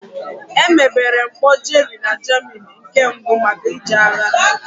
Emebere mkpọ Jerry na Germany nke mbụ maka iji agha.